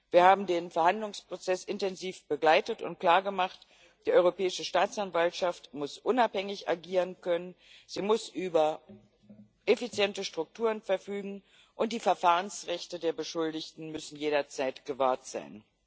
Wir haben den Verhandlungsprozess intensiv begleitet und klargemacht Die Europäische Staatsanwaltschaft muss unabhängig agieren können, sie muss über effiziente Strukturen verfügen, und die Verfahrensrechte der Beschuldigten müssen jederzeit gewahrt sein.